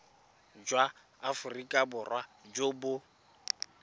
jwa aforika borwa jo bo